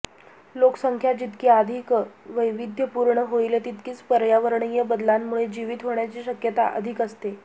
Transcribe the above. लोकसंख्या जितकी अधिक वैविध्यपूर्ण होईल तितकीच पर्यावरणीय बदलांमुळे जीवित होण्याची शक्यता अधिक असते